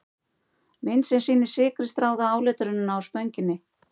Mynd sem sýnir sykri stráða áletrunina á Spönginni.